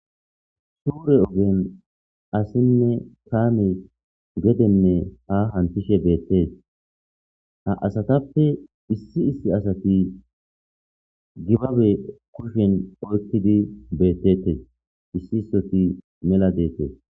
Suure ugen assinne taame gedenne haahan tishe beette ha asatappe issi issi asati gibabe kushen oykkidi beettete issi issoti mela deete.